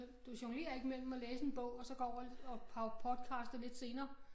Kan du jonglerer ikke mellem at læse en bog og så gå over og og podcaster lidt senere